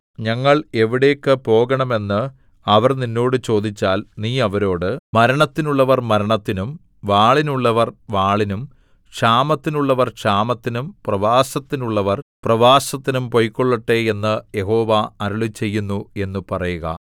ഞങ്ങൾ എവിടേയ്ക്കു പോകണം എന്ന് അവർ നിന്നോട് ചോദിച്ചാൽ നീ അവരോട് മരണത്തിനുള്ളവർ മരണത്തിനും വാളിനുള്ളവർ വാളിനും ക്ഷാമത്തിനുള്ളവർ ക്ഷാമത്തിനും പ്രവാസത്തിനുള്ളവർ പ്രവാസത്തിനും പൊയ്ക്കൊള്ളട്ടെ എന്ന് യഹോവ അരുളിച്ചെയ്യുന്നു എന്നു പറയുക